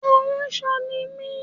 Aránṣọ ni mi